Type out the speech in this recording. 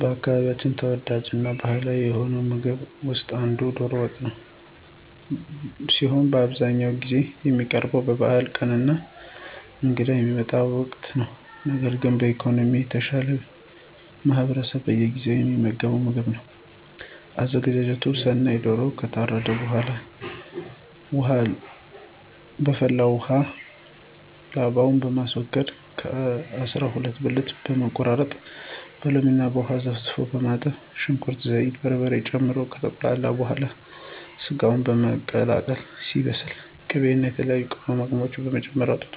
በአካባቢያችን ተወዳጅ እና ባህላዊ ከሆነው ምግብ ውስጥ አንዱ ዶሮ ወጥ ሲሆን በአብዛኛውን ጊዜ የሚቀርበው በበዓላት ቀን እና እንግዳ በሚመጣበት ወቅት ነው። ነገር ግን በኢኮኖሚ የተሻለው ማህበረሰብ በየጊዜው የሚመገበው ምግብ ነው። አዘገጃጀቱን ስናይ ዶሮው ከታረደ በኃላ በፈላ ውሃ ላባውን በማስወገድ ከ አሰራ ሁለት ብልቱን በመቆራረጥ በሎሚ እና ውሃ ዘፍዝፎ በማጠብ ሽንኩርት፣ ዘይት፣ በርበሬ ጨምሮ ከተቁላላ በኃላ ሰጋውን በመቀላቀል ሲበስል ቅቤ እና የተለያዩ ቅመማቅመሞችን በመጨመር አውጥቶ